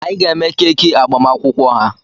Anyị ga-eme keeki agbamakwụkwọ ha.